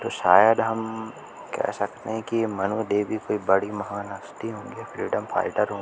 तो शायद हम कह सकते कि मनु देवी कोई बड़ी महान हस्ती होंगी फ्रीडम फाइटर हो--